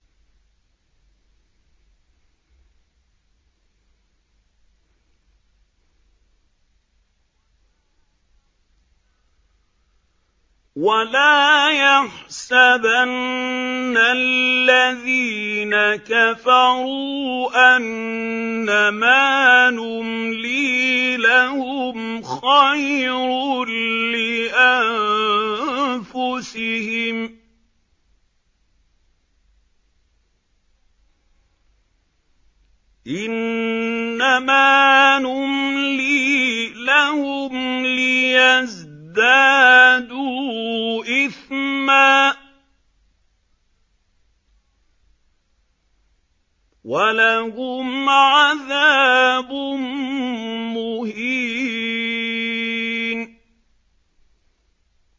وَلَا يَحْسَبَنَّ الَّذِينَ كَفَرُوا أَنَّمَا نُمْلِي لَهُمْ خَيْرٌ لِّأَنفُسِهِمْ ۚ إِنَّمَا نُمْلِي لَهُمْ لِيَزْدَادُوا إِثْمًا ۚ وَلَهُمْ عَذَابٌ مُّهِينٌ